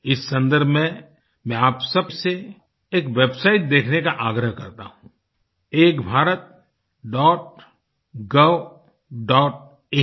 इस सन्दर्भ में मैं आप सबसे एक वेबसाइट देखने का आग्रह करता हूँ ekbharatgovइन Ek Bharat dot gov dot इन